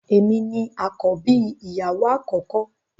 Èmi ní akọbi ìyàwó akọkọ.